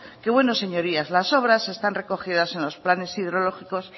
que bueno señorías las obras se están recogidas en los planes hidrológicos